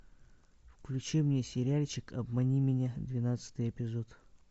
включи мне сериальчик обмани меня двенадцатый эпизод